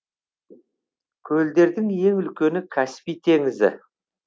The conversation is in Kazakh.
көлдердің ең үлкені каспий теңізі